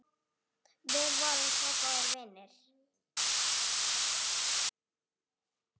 Við vorum svo góðir vinir.